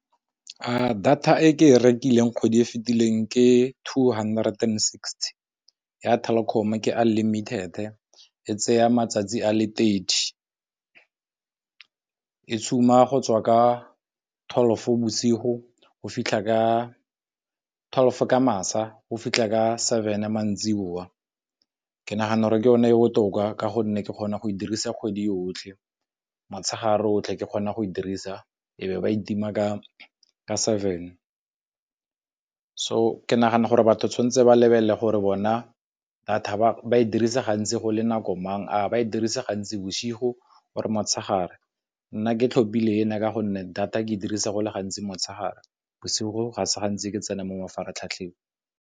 Data e ke e rekileng go di e fitileng ke two hundred and sixty ya Telkom ke unlimited e e tseya matsatsi a thirty e go tswa ka twelve bosigo, go fitlha ka twelve ka masa go fitlha ka seven a maitseboa. Ke nagana gore ke yona e botoka ka gonne ke kgona go e dirisa kgwedi yotlhe motshegare otlhe ke kgona go e dirisa e be ba itima ka seven. So ke nagana gore batho tshwanetse ba lebelele gore bona data ba e dirise gantsi go le nako mang a ba e dirisa gantsi bosigo or motshegare, nna ke tlhopile ena ka gonne data ke dirisa go le gantsi motshegare bosigo ga se gantsi ke tsena mo mafaratlhatlheng.